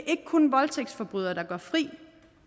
ikke kun voldtægtsforbrydere der går fri